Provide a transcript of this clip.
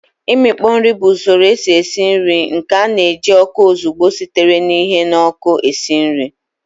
Imikpo nri bụ usoro esi esi nri nke na-eji ọkụ ozugbo sitere na ihe n'ọkụ esi nri